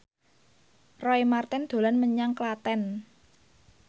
Roy Marten dolan menyang Klaten